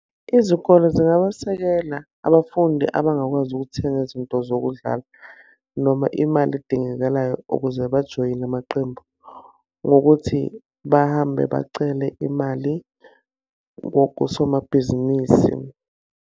Izikole zingabasekela abafundi abangakwazi ukuthenga izinto zokudlala noma imali edingekalayo ukuze bajoyine amaqembu, ngokuthi bahambe bacele imali kosomabhizinisi.